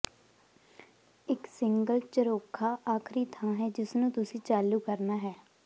ਇੱਕ ਸਿੰਗਲ ਝਰੋਖਾ ਆਖਰੀ ਥਾਂ ਹੈ ਜਿਸਨੂੰ ਤੁਸੀਂ ਚਾਲੂ ਕਰਨਾ ਹੈ